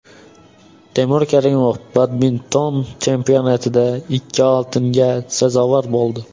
Temur Karimov badminton chempionatida ikki oltinga sazovor bo‘ldi.